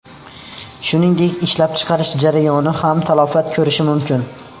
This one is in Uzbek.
Shuningdek, ishlab chiqarish jarayoni ham talafot ko‘rishi mumkin.